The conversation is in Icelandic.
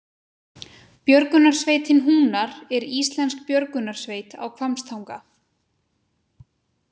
Björgunarsveitin Húnar er íslensk björgunarsveit á Hvammstanga.